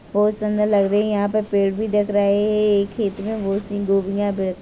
बहुत सुंदर लग रहे है यहाँ पर पेड़ भी देख रहे है एक खेत में बहुत -सी गूभियाँ भी रखी --